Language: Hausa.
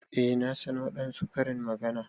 Eh na san wadansu Karin magana.